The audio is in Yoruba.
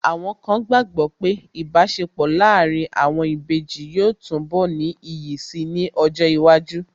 Àwọn kan gbàgbọ́ pé Ìbáṣepọ̀ láàárín àwọn ìbejì yóò túnbọ̀ ní iyì si ní ọjọ́ iwájú